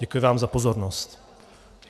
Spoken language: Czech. Děkuji vám za pozornost.